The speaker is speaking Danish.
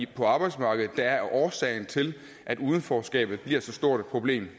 på arbejdsmarkedet der er årsagen til at udenforskabet bliver så stort et problem